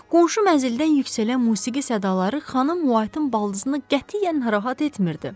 Qonşu mənzildən yüksələn musiqi sədaları xanım Whiteın baldızını qətiyyən narahat etmirdi.